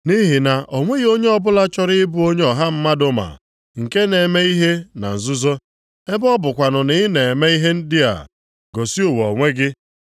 Nʼihi na o nweghị onye ọbụla chọrọ ịbụ onye ọha mmadụ ma, nke na-eme ihe na nzuzo. Ebe ọ bụkwanụ na ị na-eme ihe ndị a, gosi ụwa onwe gị.”